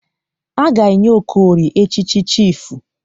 A ga-enye Okorie echịchị chifụ.